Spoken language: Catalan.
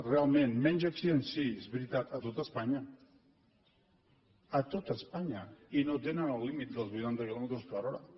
realment menys accidents sí és veritat a tot espanya a tot espanya i no tenen el límit dels vuitanta quilòmetres per hora